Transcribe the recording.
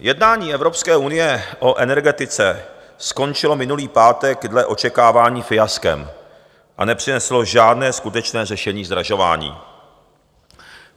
Jednání Evropské unie o energetice skončilo minulý pátek dle očekávání fiaskem a nepřineslo žádné skutečné řešení zdražování.